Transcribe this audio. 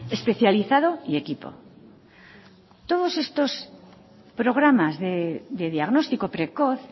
especializado y equipo todos estos programas de diagnóstico precoz